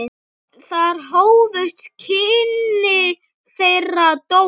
Þar hófust kynni þeirra Dóru.